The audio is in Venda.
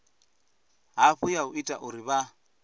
hafhu ya ita uri vha